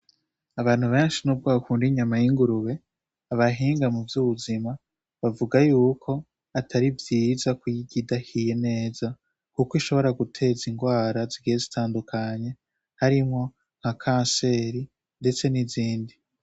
Abantu benshi nubwo bakunda inyama y'ingurube abahinga mu vy'ubuzima bavuga yuko atari vyiza kuyirya idahiye neza kuko ishobora guteza indwara zigiye zitandukanye harimwo nka kanseri ndetse n'izindi.